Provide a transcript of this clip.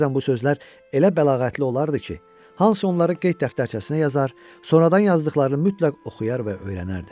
Bəzən bu sözlər elə bəlağətli olardı ki, Hans onları qeyd dəftərçəsinə yazar, sonradan yazdıqlarını mütləq oxuyar və öyrənərdi.